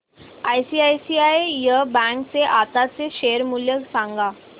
ICICI bank चे आताचे share मूल्य सांगा